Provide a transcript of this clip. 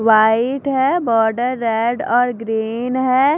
White है border red और green है।